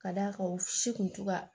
Ka d'a kan u si kun to ka